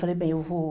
Falei, bem, eu vou...